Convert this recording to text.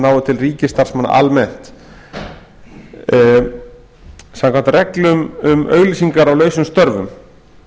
nái til ríkisstarfsmanna almennt samkvæmt reglum um auglýsingar á lausum störfum